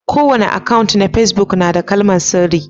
Kowani akan'na pesbuk na da kalmar sirri.